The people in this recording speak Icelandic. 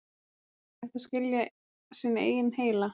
er hægt að skilja sinn eigin heila